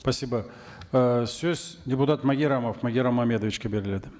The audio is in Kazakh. спасибо ы сөз депутат магеррамов магеррам мамедовичке беріледі